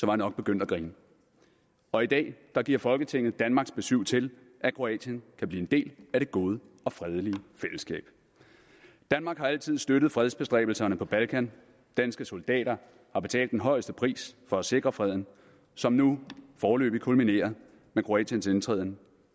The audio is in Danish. jeg nok begyndt at grine og i dag giver folketinget så danmarks besyv til at kroatien kan blive en del af det gode og fredelige fællesskab danmark har altid støttet fredsbestræbelserne på balkan danske soldater har betalt den højeste pris for at sikre freden som nu foreløbig kulminerer med kroatiens indtræden